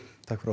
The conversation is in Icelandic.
takk fyrir